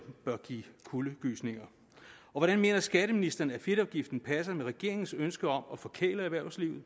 bør give kuldegysninger og hvordan mener skatteministeren at fedtafgiften passer med regeringens ønske om at forkæle erhvervslivet